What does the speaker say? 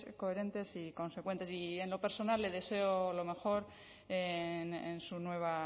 coherentes y consecuentes y en lo personal le deseo lo mejor en su nueva